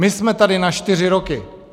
My jsme tady na čtyři roky.